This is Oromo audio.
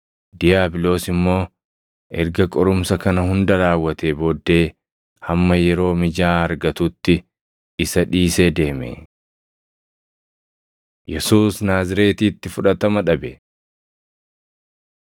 Diiyaabiloos immoo erga qorumsa kana hunda raawwatee booddee hamma yeroo mijaaʼaa argatutti isa dhiisee deeme. Yesuus Naazreetitti Fudhatama Dhabe